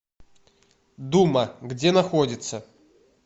дума где находится